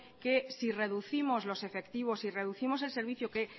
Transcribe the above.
que si reducimos los efectivos si reducimos el servicio que